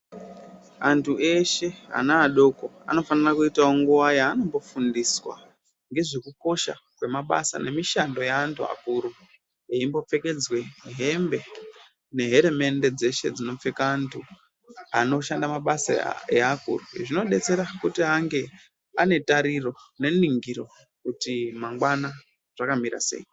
Antu eshe ana adoko anofanira kuitawo nguva yaanombo fundiswa ngezve kukosha kwe mabasa ne mishando ye antu akuru eyimbo pfekedzwe hembe ne heremende dzeshe dzino pfeka antu anoshanda mabasa e akuru zvino detsera kuti ange ane tatiro ne ningiro kuti mangwana zvaka mira sei.